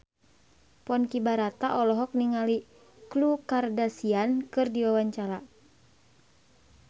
Ponky Brata olohok ningali Khloe Kardashian keur diwawancara